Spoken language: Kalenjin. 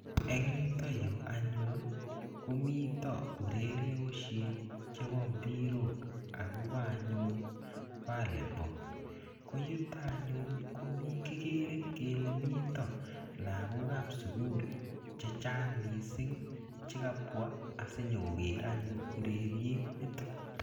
engyutayu anyun, komito urerioshek chepo mbirok akopa anyun volleyball. koyutak anyun kikere kele mitee lagok ap sugul chechang mising chekabwa sinyokoger anyun urerriet nitok.